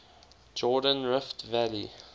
jordan rift valley